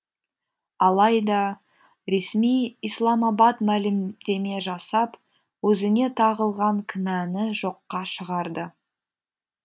алайда ресми исламабад мәлімдеме жасап өзіне тағылған кінәні жоққа шығарды